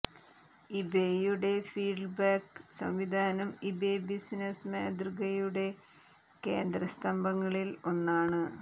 ഇബേയുടെ feedback സംവിധാനം eBay business മാതൃകയുടെ കേന്ദ്ര സ്തംഭങ്ങളിൽ ഒന്നാണ്